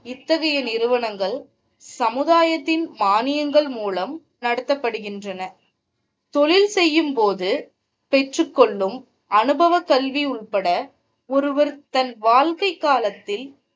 இத்தகைய நிறுவனங்கள் சமுதாயத்தின் மானியங்கள் மூலம் நடத்தப்படுகிற தொழில் செய்யும் போது பெற்று கொள்ளும் அனுபவ கல்வி உள்பட ஒருவர் தன் வாழ்க்கை காலத்தில்,